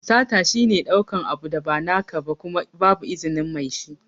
Sata shi ne ɗaukan abu da ba naka ba Kuma babu izinin Mai shi.